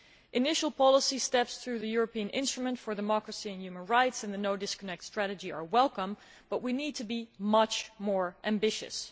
Initial policy steps through the European Instrument for Democracy and Human Rights and the No Disconnect Strategy are welcome, but we need to be much more ambitious.